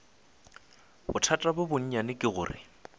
bothata bjo bonnyane ke gore